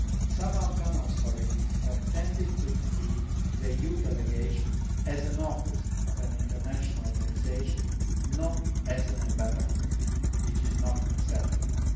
Some Afghan authorities have tended to treat the EU delegation as the office' of an international organisation, not as an embassy which is not acceptable.